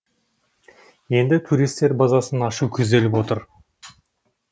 енді туристер базасын ашу көзделіп отыр